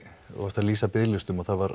þú varst að lýsa biðlistum og það var